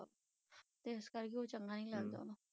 ਇਸ ਕਰਕੇ ਉਹ ਚੰਗਾ ਨਹੀਂ ਲੱਗਦਾ ਵਾ।